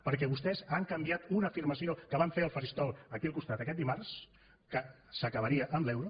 perquè vostès han canviat una afirmació que van fer al faristol aquí al costat aquest dimarts que s’acabaria amb l’euro